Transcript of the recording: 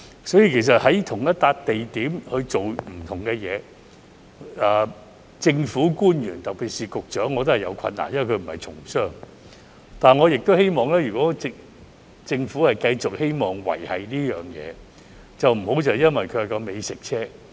所以，在同一個地點做不同的事，政府官員特別是局長也有困難，因為他並不是從商，但我亦希望如果政府繼續希望維繫這東西，便不要將其局限於美食車。